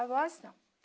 Avós, não.